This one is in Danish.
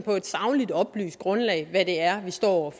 på et sagligt oplyst grundlag hvad det er vi står over